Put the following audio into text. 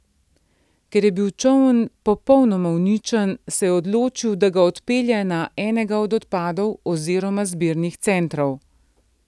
Ker je bil čoln popolnoma uničen, se je odločil, da ga odpelje na enega od odpadov oziroma zbirnih centrov.